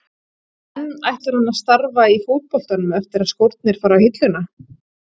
En ætlar hann að starfa í fótboltanum eftir að skórnir fara á hilluna?